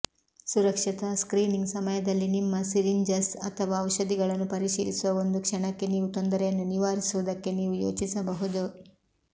ಸುರಕ್ಷತಾ ಸ್ಕ್ರೀನಿಂಗ್ ಸಮಯದಲ್ಲಿ ನಿಮ್ಮ ಸಿರಿಂಜಸ್ ಅಥವಾ ಔಷಧಿಗಳನ್ನು ಪರಿಶೀಲಿಸುವ ಒಂದು ಕ್ಷಣಕ್ಕೆ ನೀವು ತೊಂದರೆಯನ್ನು ನಿವಾರಿಸುವುದನ್ನು ನೀವು ಯೋಚಿಸಬಹುದು